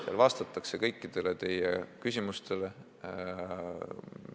Seal vastatakse kõikidele teie küsimustele.